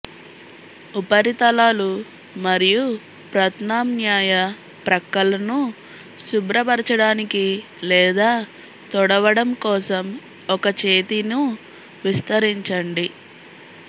ఉపరితలాలు మరియు ప్రత్యామ్నాయ ప్రక్కలను శుభ్రపరచడానికి లేదా తుడవడం కోసం ఒక చేతిను విస్తరించండి